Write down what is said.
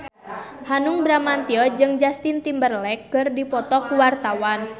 Hanung Bramantyo jeung Justin Timberlake keur dipoto ku wartawan